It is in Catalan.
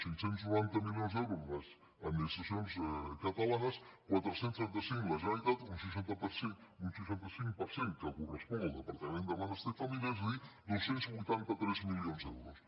cinc cents i noranta milions d’euros les administraci·ons catalanes quatre cents i trenta cinc la generalitat un seixanta cinc per cent que correspon al departament de benestar i família és a dir dos cents i vuitanta tres milions d’euros